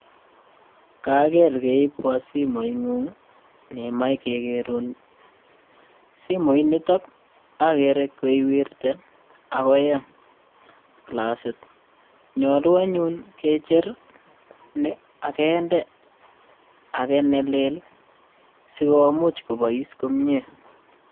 Kager keibwo simooing'ung nemajei kegerun simooinito agere koiwirte ako ya classit. Nyoluu anyun kejer ni agende age nelel sigomuch kobois komie.